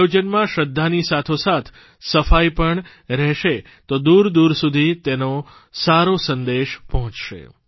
આયોજનમાં શ્રદ્ધાની સાથોસાથ સફાઇ પણ રહેશે તો દૂરદૂર સુધી તેનો સારો સંદેશ પહોંચશે